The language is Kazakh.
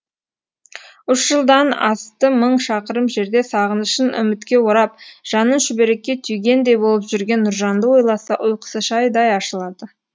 үш жылдан асты мың шақырым жерде сағынышын үмітке орап жанын шүберекке түйгендей болып жүрген нұржанды ойласа ұйқысы шайдай ашылады